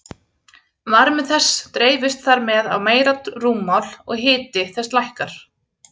Varmi þess dreifist þar með á meira rúmmál og hiti þess lækkar.